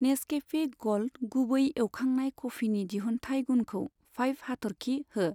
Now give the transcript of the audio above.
Nescafé gold गुबै एवखांनाय कफिनि दिहुनथाइ गुनखौ फाइभ हाथरखि हो।